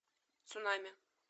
цунами